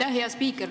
Aitäh, hea spiiker!